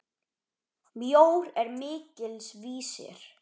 Mjór er mikils vísir.